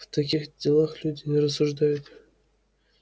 в таких делах люди не рассуждают